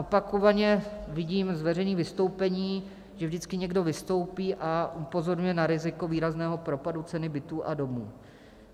Opakovaně vidím z veřejných vystoupení, že vždycky někdo vystoupí a upozorňuje na riziko výrazného propadu cen bytů a domů.